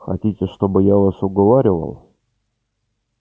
хотите чтобы я вас уговаривал